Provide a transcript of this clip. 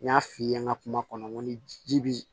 N y'a f'i ye n ka kuma kɔnɔ n ko ni ji bi